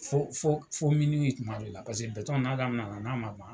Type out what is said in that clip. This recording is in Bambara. Fo fo tuma dɔw la, paseke n'a damina na n'a ma ban